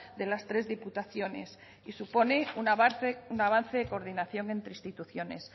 de las tres diputaciones y supone un avance de coordinación entre instituciones